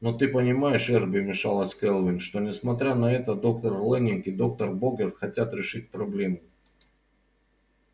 но ты понимаешь эрби вмешалась кэлвин что несмотря на это доктор лэннинг и доктор богерт хотят решить проблему